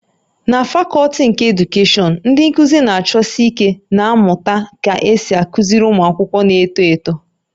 Na fakọlti nke Edukeshọn, ndị nkuzi na-achọsi ike na-amụta ka esi akụziri ụmụ akwụkwọ na-eto eto